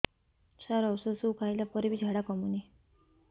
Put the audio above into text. ସାର ଔଷଧ ସବୁ ଖାଇଲା ପରେ ବି ଝାଡା କମୁନି